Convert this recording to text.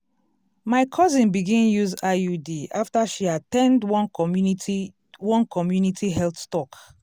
my cousin begin use iud after she at ten d one community one community health talk.